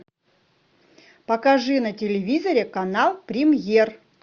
покажи на телевизоре канал премьер